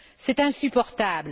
C'est insupportable!